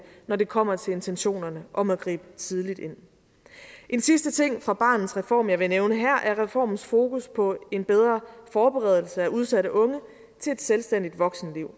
når det kommer til intentionerne om at gribe tidligt ind en sidste ting fra barnets reform jeg vil nævne her er reformens fokus på en bedre forberedelse af udsatte unge til et selvstændigt voksenliv